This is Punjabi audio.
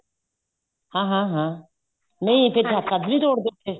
ਹਾਂ ਹਾਂ ਨਹੀਂ ਫੇਰ ਛੱਜ ਨੀ ਤੋੜਦੇ